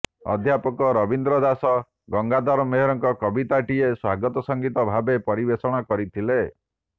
ଅଧ୍ୟାପକ ରବୀନ୍ଦ୍ର ଦାସ ଗଙ୍ଗାଧର ମେହେରଙ୍କ କବିତାଟିଏ ସ୍ବାଗତ ସଂଗୀତ ଭାବେ ପରିବେଷଣ କରିଥିଲେ